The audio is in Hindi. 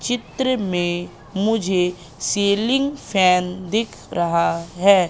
चित्र में मुझे सीलिंग फैन दिख रहा है।